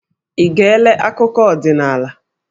Ị geela akụkọ ọdinaala?